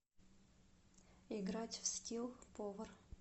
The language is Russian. играть в скилл повар